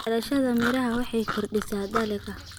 Beerashada miraha waxay kordhisaa dakhliga.